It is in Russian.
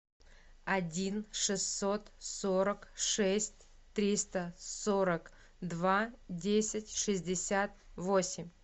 один шестьсот сорок шесть триста сорок два десять шестьдесят восемь